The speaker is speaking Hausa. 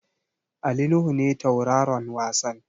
Ali Nuhu ne tauraron wasan.